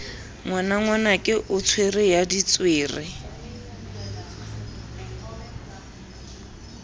ngwanangwanake o tswere ya ditswere